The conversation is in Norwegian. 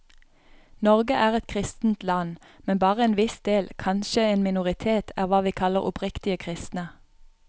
Norge er et kristent land, men bare en viss del, kanskje en minoritet, er hva vi kaller oppriktige kristne.